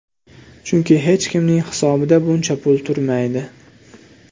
Chunki hech kimning hisobida buncha pul turmaydi.